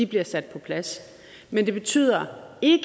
bliver sat på plads men det betyder ikke